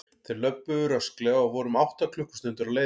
Þeir löbbuðu rösklega og voru um átta klukkustundir á leiðinni.